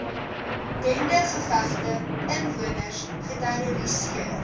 bendegevegte inwoners geterroriseer